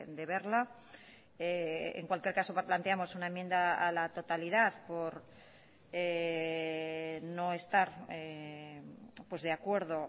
de verla en cualquier caso planteamos una enmienda a la totalidad por no estar de acuerdo